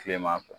Kilema fɛ